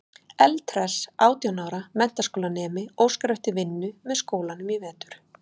Eldhress átján ára menntaskólanemi óskar eftir vinnu með skólanum í vetur.